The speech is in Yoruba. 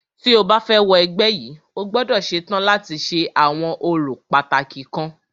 Tí o bá fẹ́ wọ ẹgbẹ́ yìí,o gbọ́dọ̀ ṣetán láti ṣe àwọn orò pàtàkì kan.